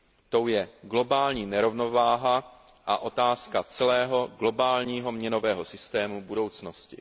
Tou je globální nerovnováha a otázka celého globálního měnového systému budoucnosti.